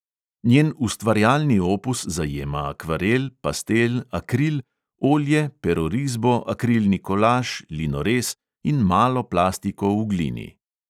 Njen ustvarjalni opus zajema akvarel, pastel, akril, olje, perorisbo, akrilni kolaž, linorez in malo plastiko v glini.